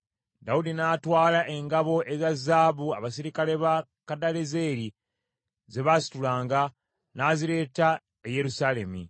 Dawudi n’atwala engabo eza zaabu abaserikale ba Kadalezeri ze baasitulanga, n’azireeta e Yerusaalemi.